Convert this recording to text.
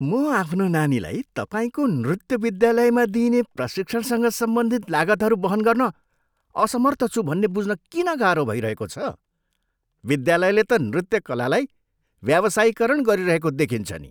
म आफ्नो नानीलाई तपाईँको नृत्य विद्यालयमा दिइने प्रशिक्षणसँग सम्बन्धित लागतहरू वहन गर्न असमर्थ छु भन्ने बुझ्न किन गाह्रो भइरहेको छ? विद्यालयले त नृत्य कलालाई व्यावसायीकरण गरिरहेको देखिन्छ नि।